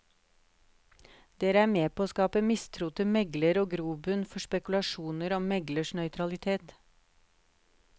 Dere er med på å skape mistro til megler og grobunn for spekulasjoner om meglers nøytralitet.